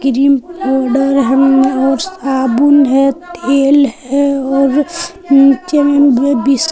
cream powder है और साबुन है तेल है और नीचे मे बीस--